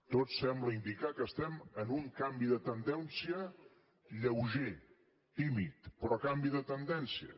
tot sembla indicar que estem en un canvi de tendència lleuger tímid però canvi de tendència